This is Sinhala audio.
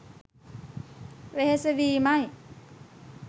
වෙහෙස වීම යි.